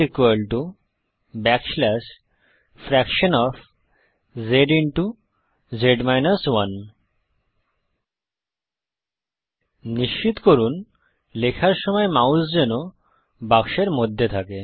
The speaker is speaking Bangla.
G frac zz 1 নিশ্চিত করুন লেখার সময় মাউস যেন বাক্সের মধ্যে থাকে